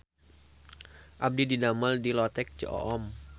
Abdi didamel di Lotek Ceu Oom